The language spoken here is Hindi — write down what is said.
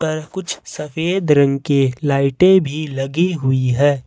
पर कुछ सफेद रंग की लाइटें भी लगी हुई है।